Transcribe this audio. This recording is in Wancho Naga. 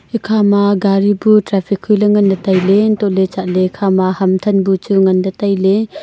ekhama gari bu traffic hoiley nganley tailey untohley chatley ekhama ham than bu chu nganley tailey.